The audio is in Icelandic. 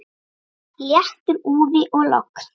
Léttur úði og logn.